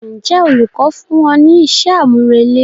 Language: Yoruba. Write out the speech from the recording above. Ǹjẹ́ olùkọ́ fún ọ ní iṣẹ́ àmúrelé?